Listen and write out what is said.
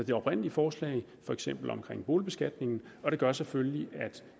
det oprindelige forslag for eksempel omkring boligbeskatningen og det gør selvfølgelig at